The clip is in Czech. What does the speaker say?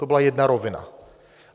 To byla jedna rovina.